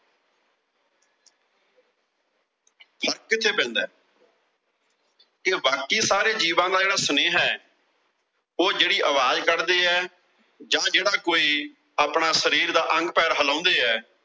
ਫਰਕ ਇੱਥੇ ਪੈਂਦਾ ਕਿ ਬਾਕੀ ਸਾਰੇ ਜੀਵਾਂ ਦਾ ਜਿਹੜਾ ਸੁਨੇਹਾ, ਉਹ ਜਿਹੜੀ ਆਵਾਜ਼ ਕੱਢਦੇ ਆ ਜਾਂ ਜਿਹੜਾ ਕੋਈ ਆਪਣੇ ਸਰੀਰ ਦਾ ਅੰਗ-ਪੈਰ ਹਿਲਾਉਂਦੇ ਆ।